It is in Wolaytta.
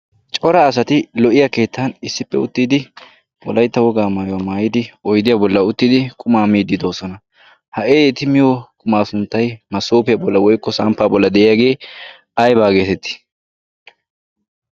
cora asati lo''iya keettan issippe uttiidi wolaytta wogaa mayuwaa maayidi oydiyaa bolla uttidi quma miididoosona ha'e eti miyo qumaa sunttay masoofiyaa bolla woykko samppaa bolla de'iyaagee aibaa geetettii